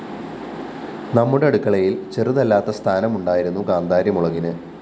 നമ്മുടെ അടുക്കളയില്‍ ചെറുതല്ലാത്ത സ്ഥാനം ഉണ്ടായിരുന്നു കാന്താരി മുളകിന്